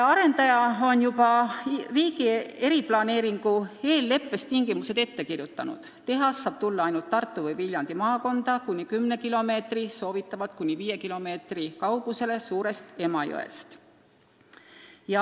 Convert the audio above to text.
Arendaja on juba riigi eriplaneeringu eelleppes tingimused ette kirjutanud: tehas saab tulla ainult Tartu või Viljandi maakonda kuni kümne kilomeetri, soovitavalt kuni viie kilomeetri kaugusele Suur-Emajõest.